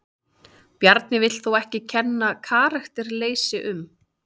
Bjarni vill þó ekki kenna karakterleysi um.